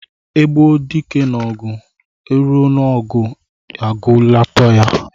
E gbuo dike n'ogu, e ruo n'ogu agueloteya.